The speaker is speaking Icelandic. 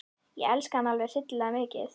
Ég elska hann alveg hryllilega mikið.